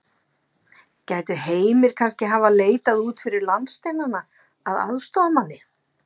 Gæti Heimir kannski hafa leitað út fyrir landsteinana að aðstoðarmanni?